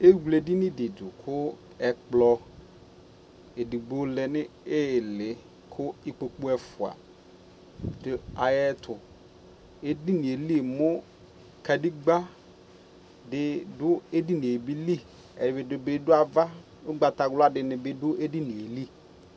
Ewle ɛdini di ku ɛkplɔ ɛdigbo lɛ nu ιlιKu ikpoku ɛfua du ayɛ tuƐdini yɛ li mu kadegba bidu ɛdini yɛ liƐdini bi du avaUgbata wla dini bi du ɛdini yɛ li